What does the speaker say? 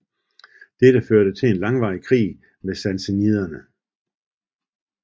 Dette førte til en langvarig krig med sassaniderne